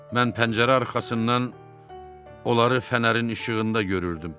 mən pəncərə arxasından onları fənərin işığında görürdüm.